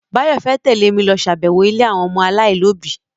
Báyọ̀ fẹ́ tẹ́lẹ̀ mi lọ ṣàbẹ̀wọ̀ ilé àwọn ọmọ aláìlóbi